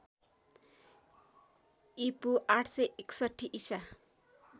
ईपू ८६१ ईसा